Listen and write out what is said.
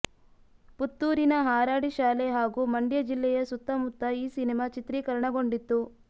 ಪುತ್ತೂರಿನ ಹಾರಾಡಿ ಶಾಲೆ ಹಾಗೂ ಮಂಡ್ಯ ಜಿಲ್ಲೆಯ ಸುತ್ತಮುತ್ತ ಈ ಸಿನಿಮಾ ಚಿತ್ರೀಕರಣಗೊಂಡಿತ್ತು